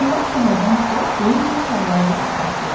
Onlar şəhərdən çıxıb böyük bir tarlaya gəlib çatdılar.